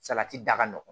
Salati da ka nɔgɔn